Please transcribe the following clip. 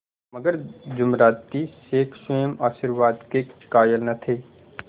मगर जुमराती शेख स्वयं आशीर्वाद के कायल न थे